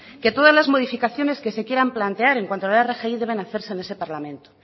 que todas las modificaciones que se quieran plantear en cuanto a la rgi deben de hacerse en ese parlamento